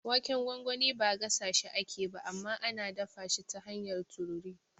Waken gwangwani ba gasashi ake ba, amma ana dafa shi ta hanyar tururi.